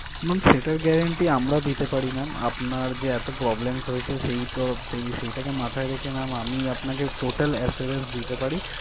Ma'am সেটার guarantee আমরা দিতে পারি ma'am আপনার যে এত problems হয়েছে সেই তরফ থেকে সেটা কে মাথায় রেখে ma'am আমি আপনাকে total assurance দিতে পারি